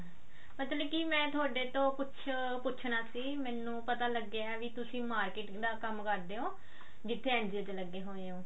ਮਤਲਬ ਕੀ ਮੈਂ ਥੋਡੇਤੋਂ ਕੁਝ ਪੁੱਛਣਾ ਸੀ ਮੈਨੂੰ ਪਤਾ ਲੱਗਿਆ ਵੀ ਤੁਸੀਂ marketing ਦਾ ਕੰਮ ਕਰਦੇ ਹੋ ਜਿੱਥੇ NGO ਚ ਲੱਗੇ ਹੋਏ ਹੋ